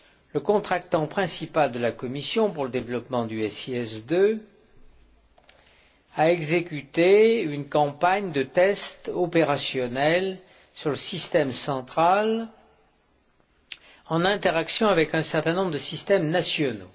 Le contractant principal de la Commission pour le développement du SIS II a exécuté une campagne de tests opérationnels sur le système central en interaction avec un certain nombre de systèmes nationaux.